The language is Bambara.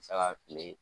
Saga fili